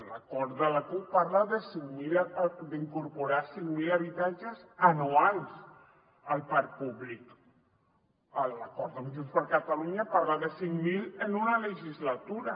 l’acord de la cup parla d’incorporar cinc mil habitatges anuals al parc públic l’acord amb junts per catalunya parla de cinc mil en una legislatura